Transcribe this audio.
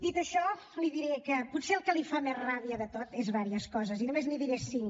dit això li diré que potser el que li fa més ràbia de tot són diverses coses i només n’hi diré cinc